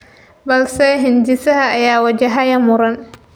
Balse hindisaha ayaa wajahaya muran.